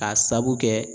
K'a sabu kɛ